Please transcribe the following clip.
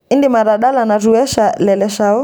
idim atadala natuesha le leshao